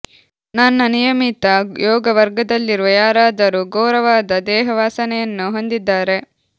ನನ್ನ ನಿಯಮಿತ ಯೋಗ ವರ್ಗದಲ್ಲಿರುವ ಯಾರಾದರೂ ಘೋರವಾದ ದೇಹ ವಾಸನೆಯನ್ನು ಹೊಂದಿದ್ದಾರೆ